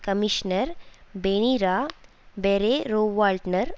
commissioner பெனிரா பெறேரோவால்ட்னர்